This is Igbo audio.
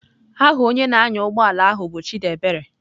Aha onye na-anya ụgbọ ala anyị bụ Chidiebere.